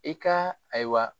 I ka ayiwa